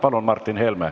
Palun, Martin Helme!